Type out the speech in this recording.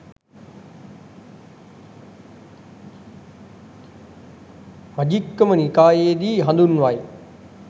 මජ්ක්‍ධිම නිකායේ දී හඳුන්වයි